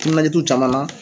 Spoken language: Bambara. Timinanjaa t'u caman na.